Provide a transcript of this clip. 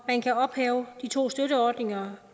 man kan ophæve de to støtteordninger